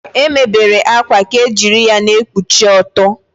E mebere akwa ka ejiri ya na-ekpuchi ọtọ.